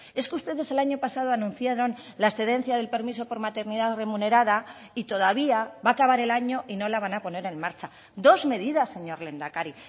es que ustedes el año pasado anunciaron la excedencia del permiso por maternidad remunerada y todavía va a acabar el año y no la van a poner en marcha dos medidas señor lehendakari